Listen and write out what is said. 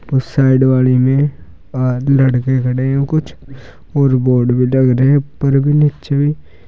और साइड वाले में हैं कुछ और बोर्ड ऊपर भी नीचे भी।